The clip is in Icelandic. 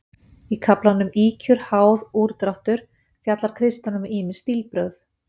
Í kaflanum Ýkjur, háð, úrdráttur fjallar Kristján um ýmis stílbrögð.